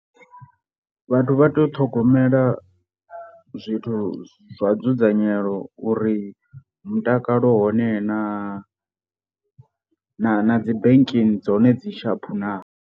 Vhathu vha tea u ṱhogomela zwithu zwa dzudzanyelo uri mutakalo u hone na na na dzi banking dzone dzi shaphu naa.